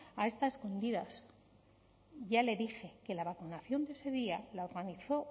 a esta a escondidas ya le dije que la vacunación de ese día la organizó